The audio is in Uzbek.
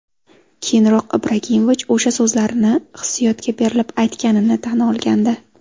Keyinroq Ibrohimovich o‘sha so‘zlarni hissiyotga berilib aytganini tan olgandi.